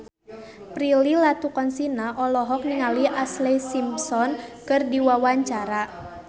Prilly Latuconsina olohok ningali Ashlee Simpson keur diwawancara